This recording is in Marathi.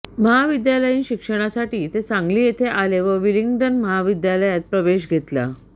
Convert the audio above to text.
महाविद्यालयीन शिक्षणासाठी ते सांगली येथे आले व विलिंग्डन महाविद्यालयात प्रवेश घेतला